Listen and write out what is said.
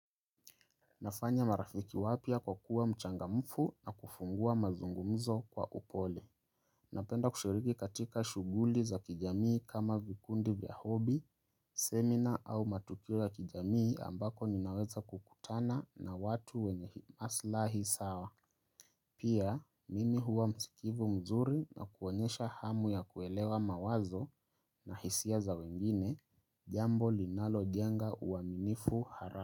Nafanya marafiki wapya kwa kuwa mchangamfu na kufungua mazungumzo kwa upole. Napenda kushiriki katika shughuli za kijamii kama vikundi vya hobby, seminar au matukio ya kijamii ambapo ninaweza kukutana na watu wenye aslahi sawa. Pia, mimi huwa msikivu mzuri na kuonyesha hamu ya kuelewa mawazo na hisia za wengine, jambo linalojenga uaminifu hara.